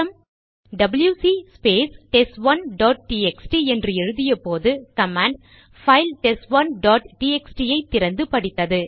WC space test one dot TXT என்று எழுதியபோது command file test one dot TXT ஐ திறந்து படித்தது